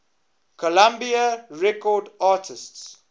columbia records artists